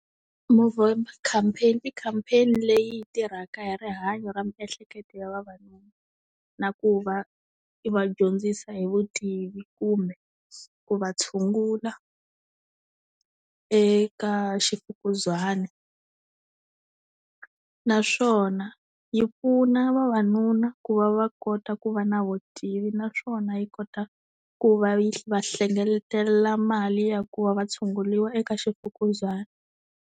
Movember campaign i campaign-i leyi tirhaka hi rihanyo ra miehleketo ya vavanuna, na ku va yi va dyondzisa hi vutivi kumbe ku va tshungula eka ximfukuzana. Naswona yi pfuna vavanuna ku va va kota ku va na vutivi naswona yi kota ku va yi va hlengeletela mali ya ku va va tshunguriwa eka ximfukuzana.